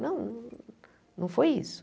Não, não foi isso.